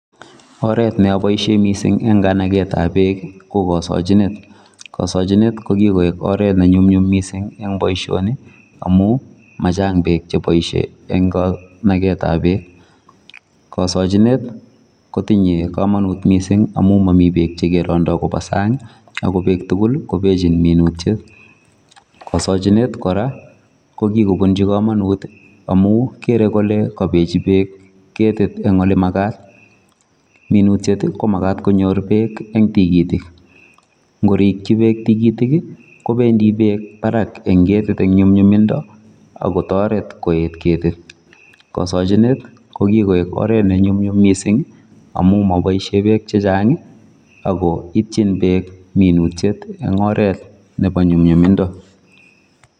Oretab neaboisien mising en kanagetab beek ko kosochinet, kosochinet kokikoik oret nenyumnyum mising en boisioni amun machang beek cheboisien en kanagetab beek, kosochinet kotinye komonut mising amun momii beek chekerondoo kopaa sang ako beek tugul kobechin minutiet kasochinet kora kokikopunchi komonut amun kere kole kobechi beek minutiet en ole makat minutiet komakat konyor beek en tikitik ngorikyi beek tikitik kobendi beek parak en ketit en nyumnyumindo akotoret koet ketit kosochinet kokikoik oret nenyumnyum mising amun moboisien beek chechang ako ityin beek minutiet en oret nebo nyumnyumindo.